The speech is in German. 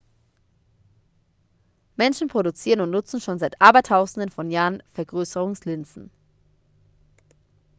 menschen produzieren und nutzen schon seit abertausenden von jahren vergrößerungslinsen